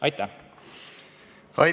Aitäh!